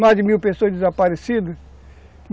Mais de mil pessoas desaparecidas.